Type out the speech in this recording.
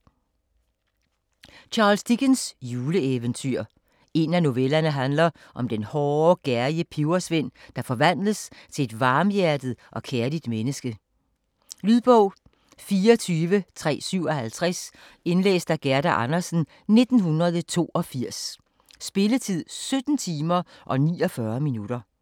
Dickens, Charles: Juleeventyr En af novellerne handler om den hårde, gerrige pebersvend, der forvandles til et varmhjertet og kærligt menneske. Lydbog 24357 Indlæst af Gerda Andersen, 1982. Spilletid: 17 timer, 49 minutter.